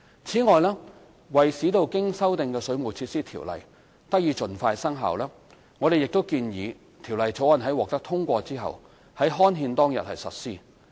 此外，為使經修訂的《條例》得以盡快生效，我們亦建議《條例草案》在獲得通過後，於刊憲當日實施。